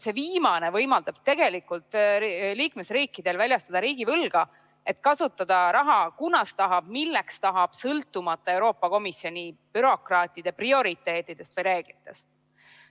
See viimane võimaldab liikmesriikidel väljastada riigivõlga, et kasutada raha, kunas tahavad, milleks tahavad, sõltumata Euroopa Komisjoni bürokraatide prioriteetidest või reeglitest.